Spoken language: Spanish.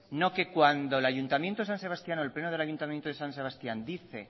no que cuando el ayuntamiento de san sebastián o el pleno del ayuntamiento de san sebastián dice